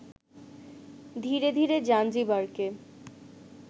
ধীরে ধীরে জাঞ্জিবারকে